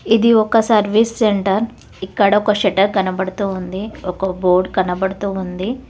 ఇది ఒక service centre ఇక్కడ ఒక షట్టర్ కనబడుతూ ఉంది ఒక బోర్డ్ కనబడుతూ ఉంది.